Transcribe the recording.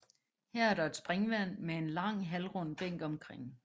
Her er der et springvand med en lang halvrund bænk omkring